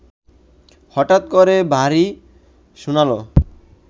হঠাৎ করে ভারী শোনাল